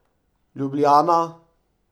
Ljubljana.